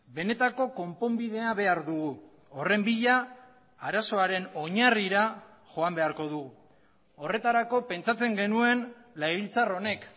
benetako konponbidea behar dugu horren bila arazoaren oinarrira joan beharko dugu horretarako pentsatzen genuen legebiltzar honek